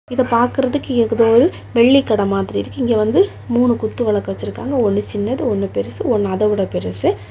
இத பாக்குறதுக்கு ஏகுதோ ஒரு வெள்ளிக்கட மாதிரி இருக்கு இங்க வந்து மூணு குத்து விளக்கு வச்சிருக்காங்க ஒன்னு சின்னது ஒன்னு பெருசு ஒன்னு அத விட பெருசு.